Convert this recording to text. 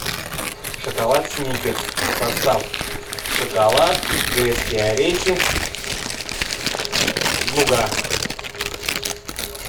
шоколад сникерс состав шоколад грецкие орехи нуга